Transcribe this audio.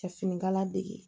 Ka finikala dege